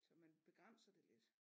Så man begrænser det lidt